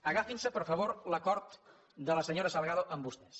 agafin se per favor l’acord de la senyora salgado amb vostès